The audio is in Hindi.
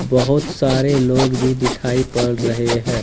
बहोत सारे लोग भी दिखाई पड़ रहे हैं।